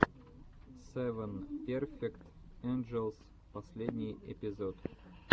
севен перфект энджелс последний эпизод